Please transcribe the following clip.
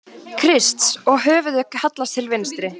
Krists, og höfuðið hallast til vinstri.